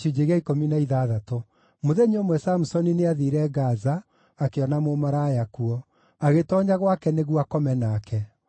Mũthenya ũmwe Samusoni nĩathiire Gaza, akĩona mũmaraya kuo. Agĩtoonya gwake nĩguo akome nake.